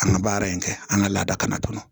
An ka baara in kɛ an ka laada fana kɔnɔ